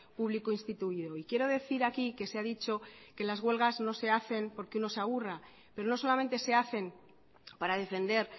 público instituido y quiero decir aquí que se ha dicho que las huelgas no se hacen porque uno se aburra pero no solamente se hacen para defender